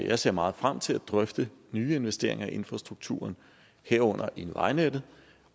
jeg ser meget frem til at drøfte nye investeringer i infrastrukturen herunder i vejnettet